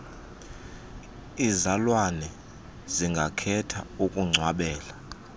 iizalwane zingakhetha ukungcwabela